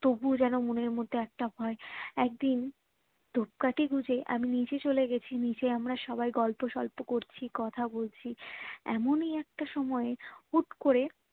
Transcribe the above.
তবু ও যেন মনের মধ্যেই একটা ভয়ে একদিন ধূপকাঠি গুজে আমি নিচে চলে গেছি নিচে আমরা সবাই গল্প সল্প করছি কথা বলছি এমনি একটা সময়ে হুট্ করে